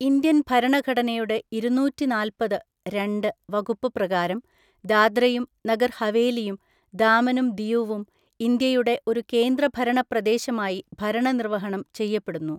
Indian ഭരണഘടനയുടെ ഇരുന്നൂറ്റിനാല്പത് (രണ്ട്) വകുപ്പ് പ്രകാരം ദാദ്രയും നഗർ ഹവേലിയും ദാമനും ദിയുവും ഇന്ത്യയുടെ ഒരു കേന്ദ്രഭരണ പ്രദേശമായി ഭരണനിര്‍വഹണം ചെയ്യപ്പെടുന്നു.